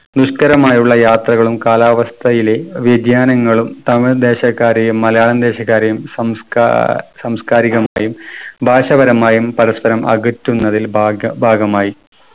നിഷ്‌കരമായുള്ള യാത്രകളും കാലാവസ്ഥയിലെ വ്യതിയാനങ്ങളും തമിഴ് ദേശക്കാരെയും മലയാളം ദേശക്കാരെയും സംസ്കാ സാംസ്‌കാരികമായും ഭാഷാപരമായും പരസ്പരം അകറ്റുന്നതിൽ ഭാഗ ഭാഗമായി.